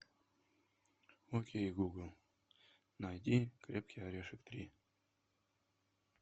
окей гугл найди крепкий орешек три